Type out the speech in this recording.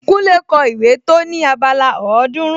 Kúnlé kọ ìwé tó ní abala ọ̀ọ́dúrún